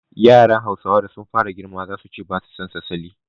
Yaran Hausawa da sun fara girma zasu ce ba sa son salliya